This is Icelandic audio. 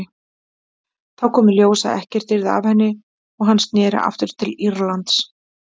Þá kom í ljós að ekkert yrði af henni og hann sneri aftur til Írlands.